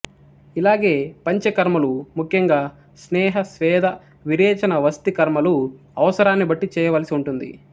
ఇలాగే పంచకర్మలు ముఖ్యంగా స్నేహ స్వేద విరేచన వస్తి కర్మలు అవసరాన్ని బట్టి చేయవలసి ఉంటుంది